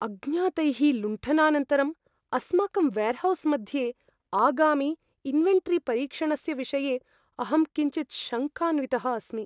अज्ञातैः लुण्ठनानन्तरम् अस्माकं वेर्हौस् मध्ये आगामि इन्वेन्टरीपरीक्षणस्य विषये अहं किञ्चित् शङ्कान्वितः अस्मि।